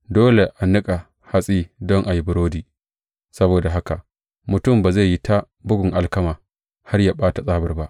Dole a niƙa hatsi don a yi burodi; saboda haka mutum ba zai yi ta bugun alkama, har yă ɓata tsabar ba.